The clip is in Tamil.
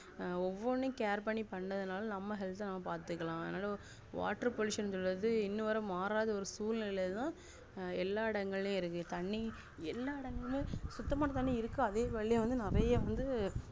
ஒவ்ஒவ்னும் care பண்ணி பண்றதுனால நம்ம health அ நம்ம பாத்துக்கலாம் water pollution ங்குறது இன்னும் வர மாறாத ஒரு சூழ்நிலைத்தான் அஹ் எல்லா இடங்களிலும் இருக்கு தண்ணி எல்லா இடங்களிலும் சுத்தமான தண்ணி இருக்காது அதே வழி நெறைய வந்து